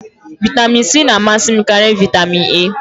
Vitamin C na-amasị m karịa vitamin A.